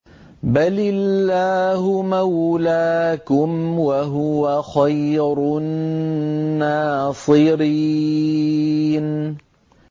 بَلِ اللَّهُ مَوْلَاكُمْ ۖ وَهُوَ خَيْرُ النَّاصِرِينَ